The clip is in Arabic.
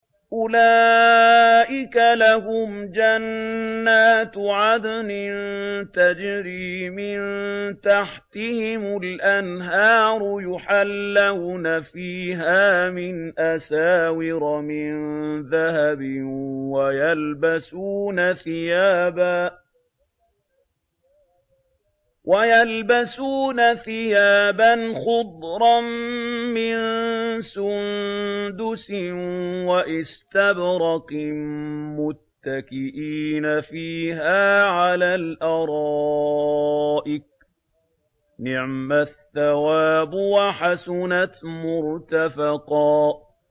أُولَٰئِكَ لَهُمْ جَنَّاتُ عَدْنٍ تَجْرِي مِن تَحْتِهِمُ الْأَنْهَارُ يُحَلَّوْنَ فِيهَا مِنْ أَسَاوِرَ مِن ذَهَبٍ وَيَلْبَسُونَ ثِيَابًا خُضْرًا مِّن سُندُسٍ وَإِسْتَبْرَقٍ مُّتَّكِئِينَ فِيهَا عَلَى الْأَرَائِكِ ۚ نِعْمَ الثَّوَابُ وَحَسُنَتْ مُرْتَفَقًا